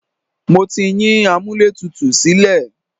Mo ti yín amúlẹ̀tutù sílẹ̀.